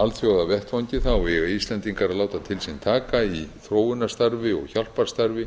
alþjóðavettvangi eigi íslendingar að láta til sín taka í þróunarstarfi og hjálparstarfi